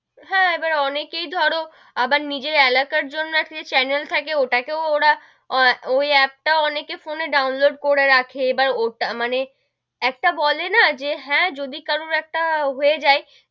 হেঁ, এবার অনেকেই ধরো, আবার নিজের এলাকার জন্য একটা যে channel থাকে ওটাকেও ওরা, ওই app টাও অনেকেই আবার ফোনে download করে রাখে এবার ওটা মানে, একটা বলে না যে হেঁ, যদি কারু একটা হয়ে যাই,